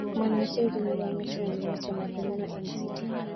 Ma ne ochiw gi migawo mochung` ne weche ma pinyno, MCT,